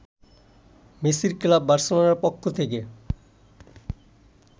মেসির ক্লাব বার্সেলোনার পক্ষ থেকে